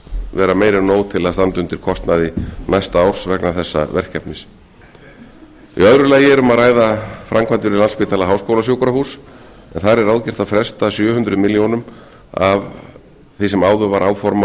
vera meira en nóg til að standa undir kostnaði næsta árs vegna þessa verkefnis í öðru lagi er um að ræða framkvæmdir við landspítala háskólasjúkrahús en þar er ráðgert að fresta sjö hundruð milljóna króna af því sem áður var áformað